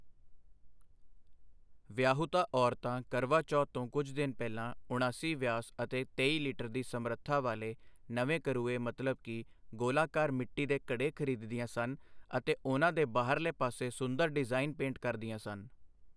ਵਿਆਹੁਤਾ ਔਰਤਾਂ ਕਰਵਾ ਚੌਥ ਤੋਂ ਕੁਝ ਦਿਨ ਪਹਿਲਾਂ, ਉਣਾਸੀ ਵਿਆਸ ਅਤੇ ਤੇਈ ਲੀਟਰ ਦੀ ਸਮਰੱਥਾ ਵਾਲੇ ਨਵੇਂ ਕਰੂਏ ਮਤਲਬ ਕਿ ਗੋਲਾਕਾਰ ਮਿੱਟੀ ਦੇ ਘੜੇ ਖਰੀਦਦੀਆਂ ਸਨ ਅਤੇ ਉਨਾਂ ਦੇ ਬਾਹਰਲੇ ਪਾਸੇ ਸੁੰਦਰ ਡਿਜ਼ਾਈਨ ਪੇਂਟ ਕਰਦੀਆਂ ਸਨ।